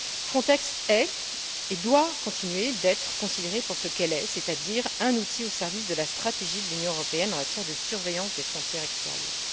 Frontex est et doit continuer d'être considérée pour ce qu'elle est, c'est à dire un outil au service de la stratégie de l'Union européenne en matière de surveillance des frontières extérieures.